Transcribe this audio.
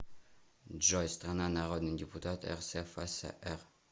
джой страна народный депутат рсфср